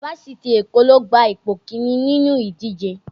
Fásitì Èkó ló gba ipò kíní nínú ìdíje